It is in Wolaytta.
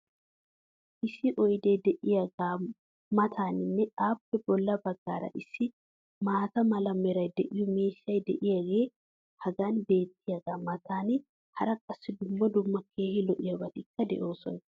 Issi oydee diyaagaa mataaninne appe bola bagaara issi maata mala meray de'iyo miishshay diyaagee hagan beetiyaagaa matan hara qassi dumma dumma keehi lo'iyaabatikka de'oosona.